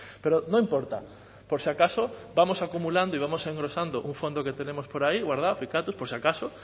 pero no importa por si acaso vamos acumulando y vamos engrosando un fondo que tenemos por ahí guardado por si acaso